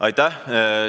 Aitäh!